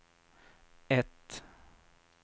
ett